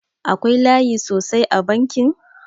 Akwai layi sosai a bankin?